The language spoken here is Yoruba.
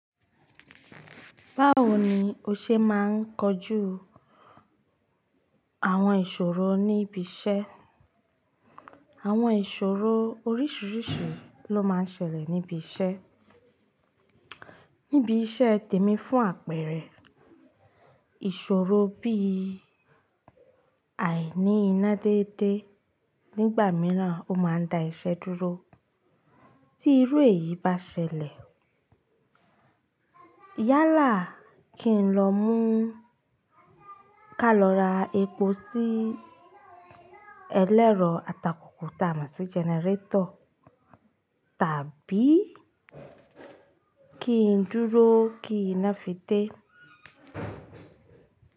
Báwo ni o ṣe máa ń kojú àwọn ìṣòro níbi iṣẹ́? Àwọn ìṣòro oríṣiríṣi ló máa ń ṣẹlẹ̀ níbi iṣẹ́. Níbi iṣẹ́ tèmi fún àpẹẹrẹ ìṣòro bí àìní iná déédéé nígbà mìíràn ó máa ń da iṣẹ́ dúró. Tí irú èyí bá ṣẹlẹ̀ yálà kí n lọ mú ká lọ ra epo sí ẹlẹ́rọ atakùkù ta mo si generator, tàbí kí n dúró kí iná fi dé?